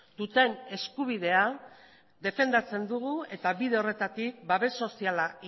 duten eskubidea defendatzen dugu eta bide horretatik babes soziala